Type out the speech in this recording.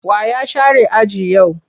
Wa ya share aji yau?